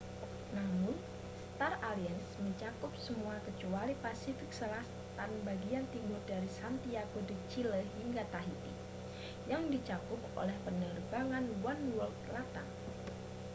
namun star alliance mencakup semuanya kecuali pasifik selatan bagian timur dari santiago de chile hingga tahiti yang dicakup oleh penerbangan oneworld latam